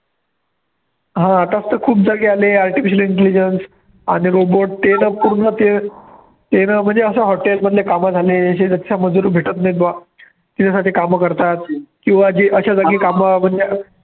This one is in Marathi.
हा आताच तर खूप जागी आले artificial intelligence आणि robot ते जर पूर्ण ते जर म्हणजे hotel मधले कामं झाले जे मजूर भेटत नाही बा त्यासाठी कामं करतात.